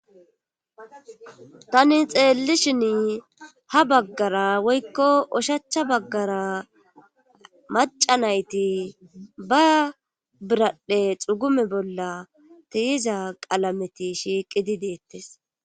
tani xeelli shin ha baggara woykko oshachcha baggara macanayti ba biradhdhe xugume bolla tiyiza qalameti shiiqidi deettes